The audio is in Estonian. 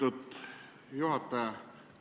Lugupeetud juhataja!